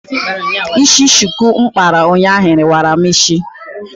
Ísí shuku m kpara ụnyaahụ wara m ísí.